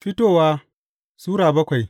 Fitowa Sura bakwai